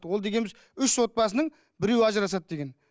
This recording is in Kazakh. ол дегеніміз үш отбасының біреуі ажырасады деген